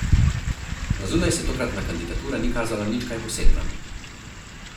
Na zunaj se tokratna kandidatura ni kazala nič kaj posebna.